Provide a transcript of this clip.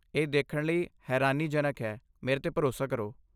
ਇਹ ਦੇਖਣ ਲਈ ਹੈਰਾਨੀਜਨਕ ਹੈ, ਮੇਰੇ 'ਤੇ ਭਰੋਸਾ ਕਰੋ।